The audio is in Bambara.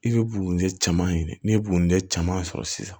I bɛ bugundɛ caman ɲini n'i ye bundɛ caman sɔrɔ sisan